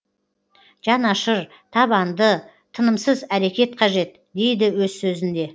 жанашыр табанды тынымсыз әрекет қажет дейді өз сөзінде